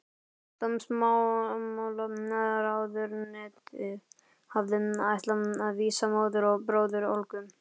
Dómsmálaráðuneytið hafði ætlað að vísa móður og bróður Olgu